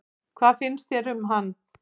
Hvað finnst þér um hann?